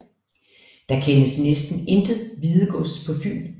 Der kendes næsten intet Hvidegods på Fyn